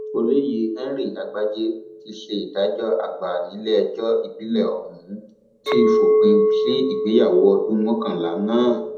olóyè henry àgbájé tí í ṣe adájọ àgbà nílẹẹjọ ìbílẹ ọhún ti fòpin sí ìgbéyàwó ọdún mọkànlá náà